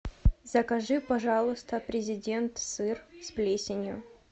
закажи пожалуйста президент сыр с плесенью